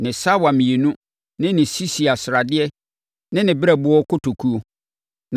ne sawa mmienu no ne sisia sradeɛ ne ne berɛboɔ kotokuo,